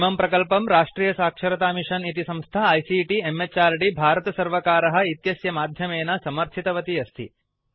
इमं प्रकल्पं राष्ट्रियसाक्षरतामिषन् इति संस्था आईसीटी म्हृद् भारतसर्वकार इत्यस्य माध्यमेन समर्थितवती अस्ति